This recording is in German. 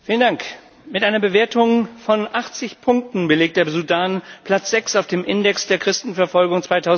Herr Präsident! Mit einer Bewertung von 80 Punkten belegt der Sudan Platz 6 auf dem Index der Christenverfolgung